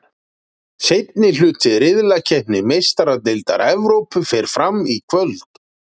Seinni hluti riðlakeppni Meistaradeildar Evrópu fer fram í kvöld.